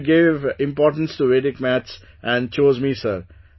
That you gave importance to Vedic maths and chose me sir